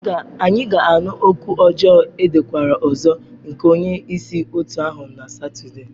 Anyị ga-anụ okwu ọjọọ edekwara ọzọ nke onye isi otu ahụ na Satọde.